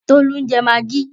Tolú ń jẹ magí.